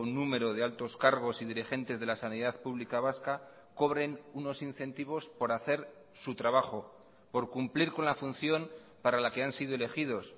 número de altos cargos y dirigentes de la sanidad pública vasca cobren unos incentivos por hacer su trabajo por cumplir con la función para la que han sido elegidos